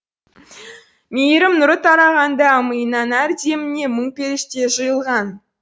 мейірім нұры тарағанда миыңнан әр деміңе мың періште жиылған